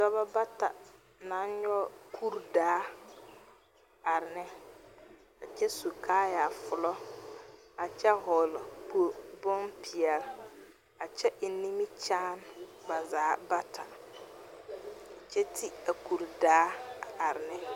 Dɔbɔ bata naŋ nyɔge kurdaa are ne a kyɛ su kaayaafolɔ, a kyɛ hɔɔle po... bon-peɛl, a kyɛ eŋ nimikyaan ba zaa bata, kyɛ ti a kurdaa a are ne.